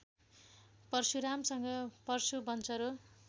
परशुरामसँग परशु बन्चरो